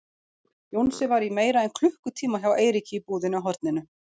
Jónsi var í meira en klukkutíma hjá Eiríki í búðinni á horninu.